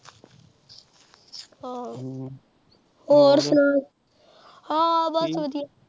ਆਹੋ ਹੋਰ ਸੁਣਾ, ਆ ਬਸ ਵਧੀਆ, ਹੋਰ ਸੁਣਾ?